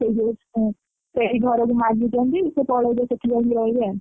ସେଇଠି ସେଇ ଘର ମାଗିଛନ୍ତି ସିଏ ପଳେଇବେ ସେଇଠି ଯାଇକି ରହିବେ ଆଉ।